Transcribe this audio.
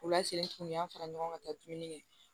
U la sen tunun an fara ɲɔgɔn ka taa dumuni kɛ